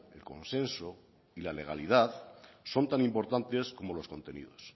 el consenso y la legalidad son tan importantes como los contenidos